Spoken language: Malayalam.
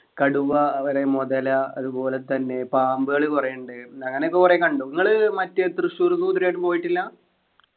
കടുവ അവിടെ മുതല അതുപോലെ തന്നെ പാമ്പുകൾ കൊറേ ഇണ്ട് അങ്ങനെയൊക്കെ കൊറേ കണ്ടു നിങ്ങള് മറ്റേ ഈ തൃശൂർ zoo ഇത് വരെ ആയിട്ടും പോയിട്ടില്ല